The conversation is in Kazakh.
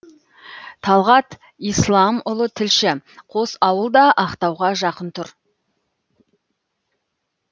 талғат исламұлы тілші қос ауыл да ақтауға жақын тұр